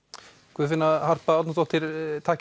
Guðfinna Harpa Árnadóttir takk